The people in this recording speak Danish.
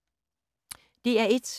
DR1